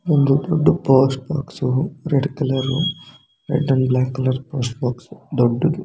ಒಂದು ದೊಡ್ಡ post box red colour red and black colour post box ದೊಡ್ಡುದು .